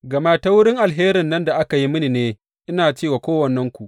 Gama ta wurin alherin nan da aka yi mini ne ina ce wa kowannenku.